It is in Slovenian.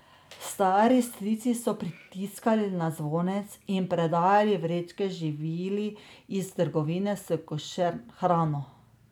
Stari strici so pritiskali na zvonec in predajali vrečke živil iz trgovine s košer hrano.